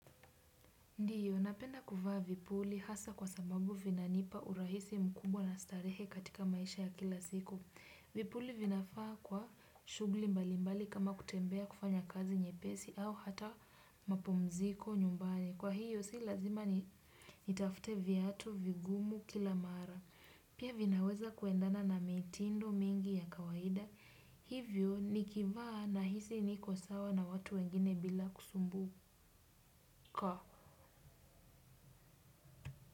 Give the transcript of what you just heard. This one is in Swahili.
Ndio, napenda kufaa vipuli hasa kwa sababu vina nipa urahisi mkubwa na starehe katika maisha ya kila siku. Vipuli vinafaa kwa shughuli mbalimbali kama kutembea kufanya kazi nyepesi au hata mapomziko nyumbani. Kwa hiyo, sii lazima nitafute viatu vigumu kila mara. Pia vinaweza kuendana na mitindo mingi ya kawaida. Hivyo, nikivaa nahisi niko sawa na watu wengine bila kusumbuka.